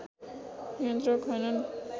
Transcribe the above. नियन्त्रक हैनन्